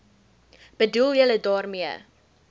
bedoel julle daarmee